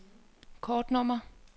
kortnummer